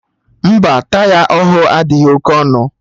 Mba, taya ahụ adịghị oké ọnụ